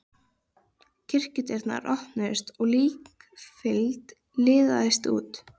Kirkjudyrnar opnuðust og líkfylgd liðaðist út.